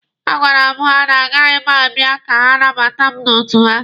A gwara m ha na agaghị m abịa ka ha nabata mụ n'otu ha.